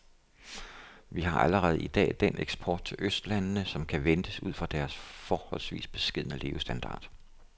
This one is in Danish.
Vi har allerede i dag den eksport til østlandene, som kan ventes ud fra deres forholdsvis beskedne levestandard.